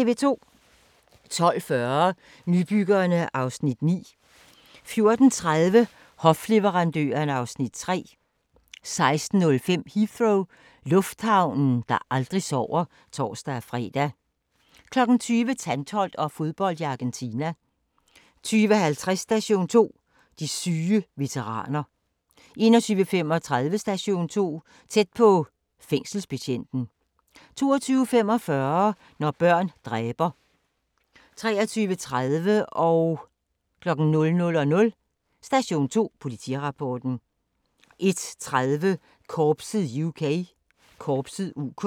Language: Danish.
12:40: Nybyggerne (Afs. 9) 14:30: Hofleverandørerne (Afs. 3) 16:05: Heathrow - lufthavnen, der aldrig sover (tor-fre) 20:00: Tantholdt og fodbold i Argentina 20:50: Station 2: De syge veteraner 21:35: Station 2: Tæt på - fængselsbetjenten 22:45: Når børn dræber 23:30: Station 2: Politirapporten 00:00: Station 2: Politirapporten 01:30: Korpset (UK)